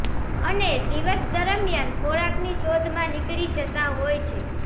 અને દિવસ દરમિયાન ખોરાકની શોધમાં નીકળી જતા હોય છે